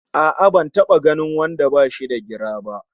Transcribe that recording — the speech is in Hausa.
A'a ban taba ganin wanda bashi da gira ba!